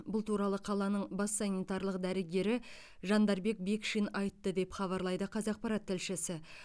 бұл туралы қаланың бас санитарлық дәрігері жандарбек бекшин айтты деп хабарлайды қазақпарат тілшісі